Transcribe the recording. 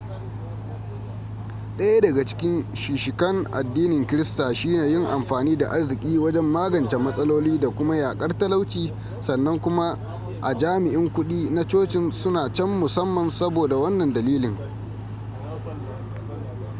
daya daga cikin shishikan addinin krista shine yin amfani da arziki wajen magance matsaloli da kuma yakar talauci sannan kuma jami'in kudi na cocin suna can musamman saboda wannan dalilin